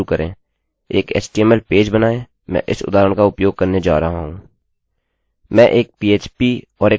चलिए पुनः शुरू करेंएक htmlएचटीएमएल पेज बनाएँ मैं इस उदाहरण का उपयोग करने जा रहा हूँ